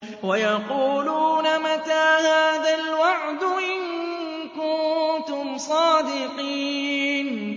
وَيَقُولُونَ مَتَىٰ هَٰذَا الْوَعْدُ إِن كُنتُمْ صَادِقِينَ